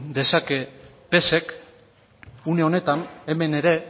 dezake psek une honetan hemen ere